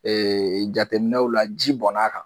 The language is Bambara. jateinɛw la ji bɔn'a kan